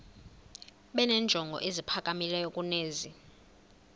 benenjongo eziphakamileyo kunezi